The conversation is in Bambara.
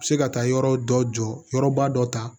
Se ka taa yɔrɔ dɔ jɔ yɔrɔba dɔ ta